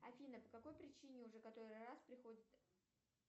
афина по какой причине уже который раз приходит